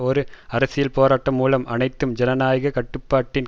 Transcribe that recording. ஒரு அரசியல் போராட்டம் மூலம் அனைத்தும் ஜனநாயக கட்டுப்பாட்டின்